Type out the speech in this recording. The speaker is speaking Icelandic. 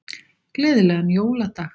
Gleðilegan jóladag.